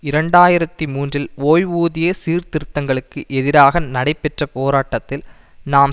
இரண்டு ஆயிரத்தி மூன்றில் ஓய்வூதிய சீர்திருத்தங்களுக்கு எதிராக நடைபெற்ற போராட்டத்தில் நாம்